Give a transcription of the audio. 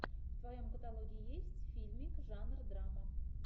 в твоем каталоге есть фильмик жанр драма